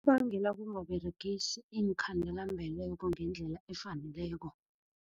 Kubangelwa kungaberegisi iinkhandelambeleko ngendlela efaneleko.